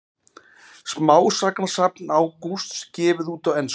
Smásagnasafn Ágústs gefið út á ensku